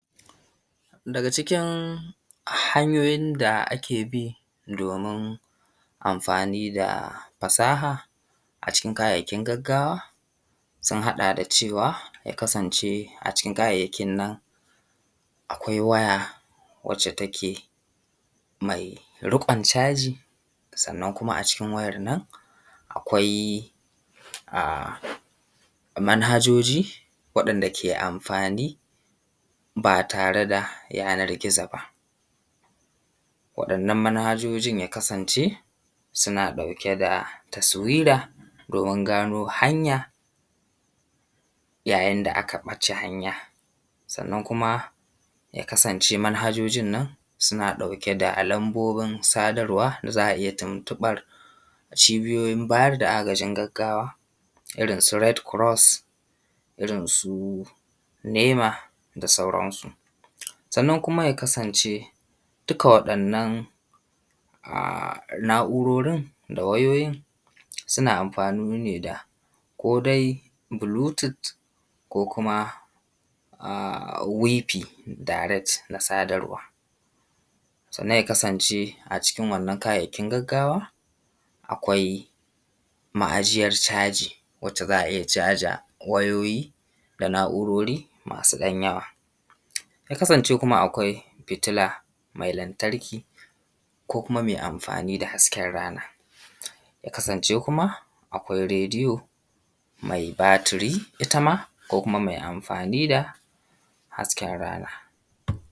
Daga cikin hanyoyin da ake bi domin amfani da fasaha. A cikin kayayyakin gaggawa sun haɗa da cewa, ya kasance a cikin kayayyakin nan akwai waya wacce take mai riƙon caji. Sannan kuma a cikin wayar nan, akwai manhajoji waɗanda ke amfani ba tare da yanar gizo ba. Waɗannan manhajojin ya kasance suna ɗauke da taswira, domin gano hanya yayin da aka ɓace hanya. Sannan kuma ya kasance manhajojin suna ɗauke da lambobin sadarwa, za a iya tuntuɓar cibiyoyin bada agajin gaggawa, irin su RED CROSS, irin su NEMA da sauransu. Sannan kuma ya kasance duka waɗannan na’urorin da wayoyin, suna amfani ne da ko dai Bluetooth ko kuma Wifi direct na sadarwa. Sannan ya kasance a cikin kayayyakin gaggawa akwai ma’ajiyar caji wacce za a iya caza wayoyi da na’urori masu ɗan yawa, ya kasance kuma akwai fitila mai lantarki, ko kuma mai amfani da hasken rana. Ya kasance kuma akwai Rediyo mai batiri ita ma, ko kuma mai amfani da hasken rana.